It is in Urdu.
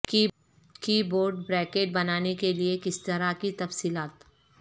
کی بورڈ بریکٹ بنانے کے لئے کس طرح کی تفصیلات